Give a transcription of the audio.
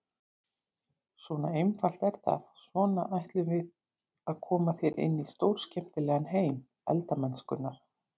Svona einfalt er það, svona ætlum við að koma þér inn í stórskemmtilegan heim elda-mennskunnar!